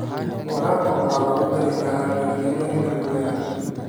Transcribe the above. Waraabka waxaa lagu dari karaa jardiinooyinka guriga.